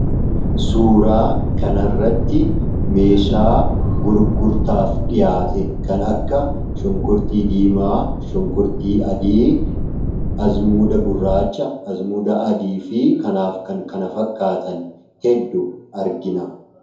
Suuraa kanarratti meeshaa gurgurtaaf dhiyaate kan akka qullubbii diimaa, qullubbii adii , abasuuda gurraacha, abasuuda adii fi kanaaf kan kana fakkaatan hedduu argina.